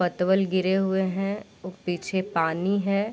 पतवल गिरे हुए है उप पीछे पानी है ।